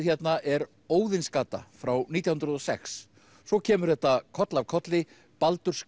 hérna er Óðinsgata frá nítján hundruð og sex svo kemur þetta koll af kolli